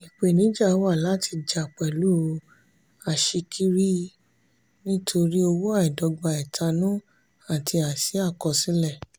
ìpèníjà wà láti jà pẹ̀lú aṣíkiri nítorí owó àìdọ́gba ẹ̀tanú àti àìsí àkọsílẹ̀.